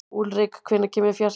Úlrik, hvenær kemur fjarkinn?